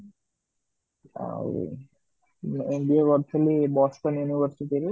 ଆଉ MBA କରି ଥିଲି Boston University ରେ